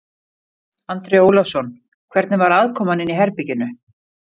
Andri Ólafsson: Hvernig var aðkoman inni í herberginu?